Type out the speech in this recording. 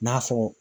N'a fɔ